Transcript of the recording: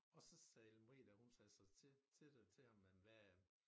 Og så sagde Ellen Marie dér hun sagde til til det til ham jamen hvad